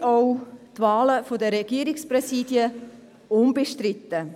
Für uns sind auch die Wahlen der Regierungspräsidien unbestritten.